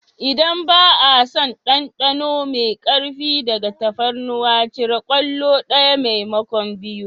Idan ba a son ɗanɗano mai ƙarfi daga tafarnuwa cire kwallo ɗaya maimakon biyu.